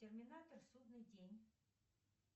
терминатор судный день